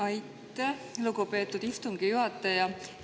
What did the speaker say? Aitäh, lugupeetud istungi juhataja!